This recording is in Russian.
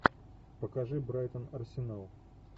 покажи брайтон арсенал